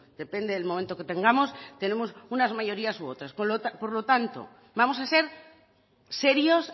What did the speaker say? depende del momento que tengamos tenemos unas mayorías u otras por lo tanto vamos a ser serios